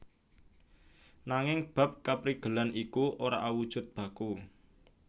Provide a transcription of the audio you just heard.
Nanging bab kaprigelan iku ora awujud baku